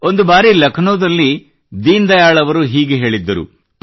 ಒಂದು ಬಾರಿ ಲಕ್ನೋದಲ್ಲಿ ದೀನ್ ದಯಾಳ್ ಅವರು ಹೀಗೆ ಹೇಳಿದ್ದರು